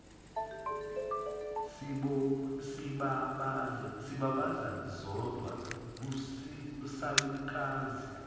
sibabaze sodwa isalukazi